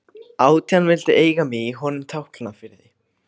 Átján vildu eiga mig í honum Tálknafirði.